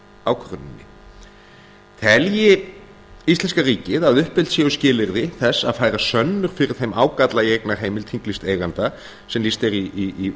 ákvörðuninni telji íslenska ríkið að uppfyllt séu skilyrði þess að færa sönnur fyrir þeim ágalla í eignarheimild þinglýsts eiganda sem lýst er í